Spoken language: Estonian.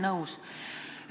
Nõus.